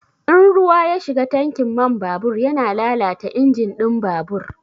In ruwa ya shiga tankin man babur yana lalata injin ɗin babur.